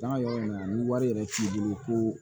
Taa yɔrɔ in na ni wari yɛrɛ t'i bolo ko